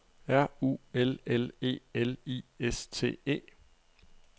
R U L L E L I S T E